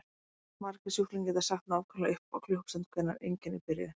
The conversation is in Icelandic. Margir sjúklingar geta sagt nákvæmlega upp á klukkustund hvenær einkenni byrjuðu.